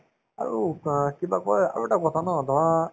আৰু অ কিবা কই আৰু এটা কথা ন ধৰা